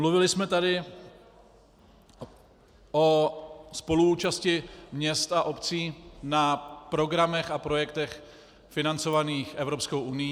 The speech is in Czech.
Mluvili jsme tady o spoluúčasti měst a obcí na programech a projektech financovaných Evropskou unií.